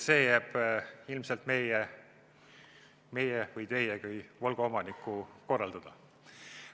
See jääb ilmselt minu või teie kui Volga omaniku korraldada.